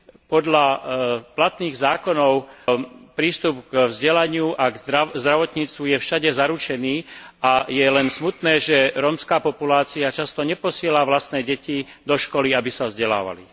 Podľa platných zákonov je prístup k vzdelaniu a k zdravotníctvu všade zaručený a je len smutné, že rómska populácia často neposiela vlastné deti do školy, aby sa vzdelávali.